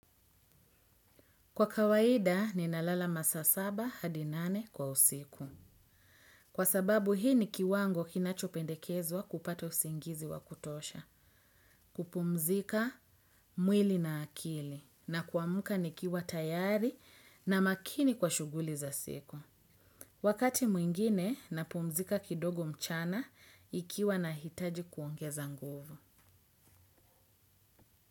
Kwa kawaida ninalala masaa saba hadi nane kwa usiku. Kwa sababu hii ni kiwango kinachopendekezwa kupata usingizi wa kutosha. Kupumzika mwili na akili na kuamka nikiwa tayari na makini kwa shughuli za siku. Wakati mwingine napumzika kidogo mchana ikiwa nahitaji kuongeza nguvu.